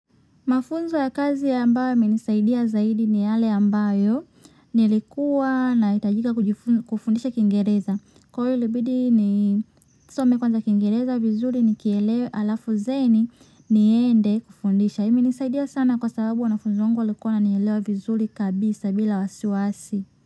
Mafunzo ya kazi ambayo yamenisaidia zaidi ni yale ambayo nilikuwa nahitajika kufundisha kingereza. Kwa hiyo ilibidi nisome kwanza kingereza vizuri nikielewe alafu then niende kufundisha. Imenisaidia sana kwa sababu wanafunzi wangu walikuwa wananielewa vizuri kabisa bila wasiwasi.